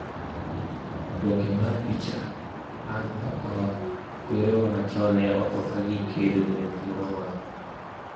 Oboke mar picha, Anne Pakoa "Kwerewa machon ne otho kagikedo ne thuolo marwa.